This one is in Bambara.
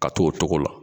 Ka t'o togo la